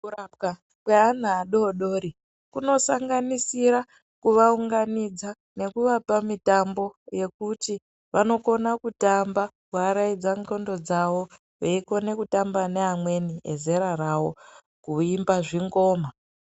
Mukurapiwa kwevana adodori kunosanganisira kuvaunganidza nekuvapa mitambo yekuti vanokona kutamba veiraidzana ndxondo dzavo veiramba neamweni vezera ravo kuimba zvingoma.